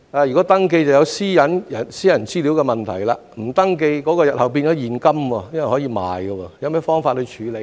若要，便會涉及個人資料私隱的問題；若否，膠袋日後又會變成現金，因為可以售賣，有何方法處理呢？